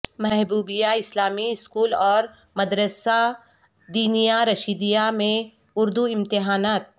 محبوبیہ Islami school اورمدرسہ دینیہ رشیدیہ میں اردو امتحانات